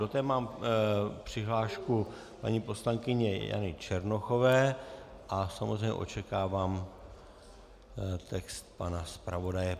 Do té mám přihlášku paní poslankyně Jany Černochové a samozřejmě očekávám text pana zpravodaje.